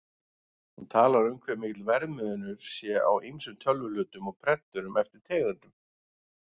Hún talar um hve mikill verðmunur sé á ýmsum tölvuhlutum og prenturum eftir tegundum.